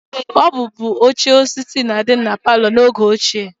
Ọ bụbu oche osisi na-adị na palọ n'oge ochie